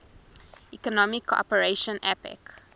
economic cooperation apec